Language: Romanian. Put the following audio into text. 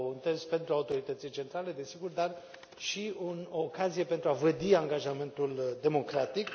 un test pentru autorități centrale, desigur, dar și o ocazie pentru a vădi angajamentul democratic.